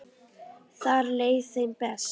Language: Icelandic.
Þar leið þeim best.